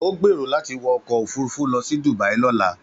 Ó gbèrò láti wọ ọkọ̀ òfurufú lọ sí Dubia lọ́la.